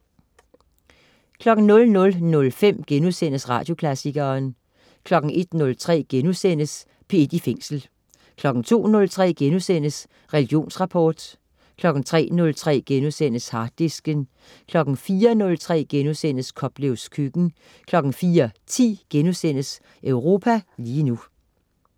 00.05 Radioklassikeren* 01.03 P1 i Fængsel* 02.03 Religionsrapport* 03.03 Harddisken* 04.03 Koplevs Køkken* 04.10 Europa lige nu*